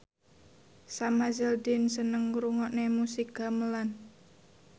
Sam Hazeldine seneng ngrungokne musik gamelan